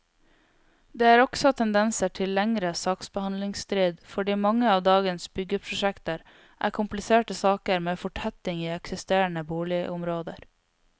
Det er også tendenser til lengre saksbehandlingstid fordi mange av dagens byggeprosjekter er kompliserte saker med fortetting i eksisterende boligområder.